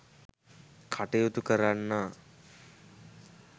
කටයුතු කරන්නා